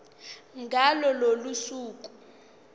ngalo lolo suku